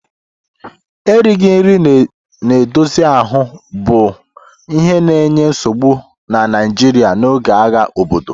Erighị nri na-edozi ahụ bụ ihe na-enye nsogbu na Nigeria n'oge agha obodo.